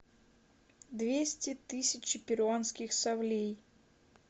двести тысяч перуанских солей